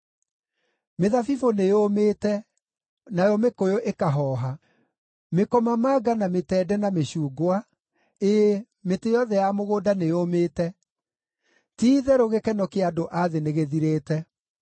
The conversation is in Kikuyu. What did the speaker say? Mĩthabibũ nĩyũmĩte, nayo mĩkũyũ ĩkahooha; mĩkomamanga, na mĩtende, na mĩcungwa: ĩĩ, mĩtĩ yothe ya mũgũnda nĩyũmĩte. Ti-itherũ gĩkeno kĩa andũ a thĩ nĩgĩthirĩte.